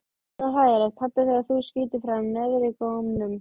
Svo hlægilegt pabbi þegar þú skýtur fram neðrigómnum.